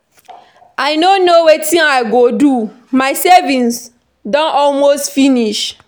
I no know wetin I go do, my savings don almost finish